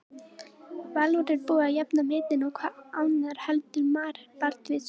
Valur er búið að jafna metin og hver annar heldur en Marel Baldvinsson?